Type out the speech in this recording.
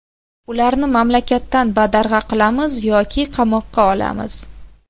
Ularni mamlakatdan badarg‘a qilamiz yoki qamoqqa olamiz.